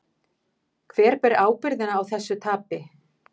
Hver ber ábyrgðina á þessu tapi?